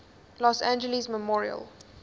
los angeles memorial